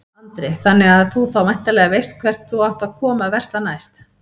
Andri: Þannig að þú þá væntanlega veist hvert þú átt að koma að versla næst?